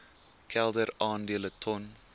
kelder aandele ton